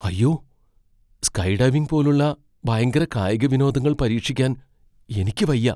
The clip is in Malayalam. അയ്യോ, സ്കൈഡൈവിംഗ് പോലുള്ള ഭയങ്കര കായിക വിനോദങ്ങൾ പരീക്ഷിക്കാൻ എനിക്ക് വയ്യ.